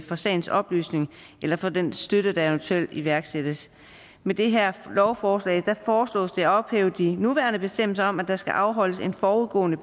for sagens oplysning eller for den støtte der eventuelt iværksættes med det her lovforslag foreslås det at ophæve de nuværende bestemmelser om at der skal afholdes en forudgående